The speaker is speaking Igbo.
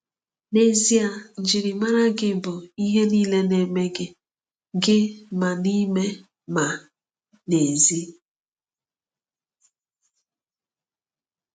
N’ezie, njirimara gị bụ ihe niile na-eme gị, gị – ma n’ime ma n’èzí.